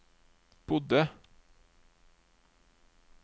bodde